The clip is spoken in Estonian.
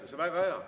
See on väga hea.